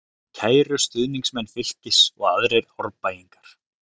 Kæru stuðningsmenn Fylkis og aðrir Árbæingar.